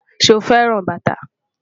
Ṣe o fẹran bata?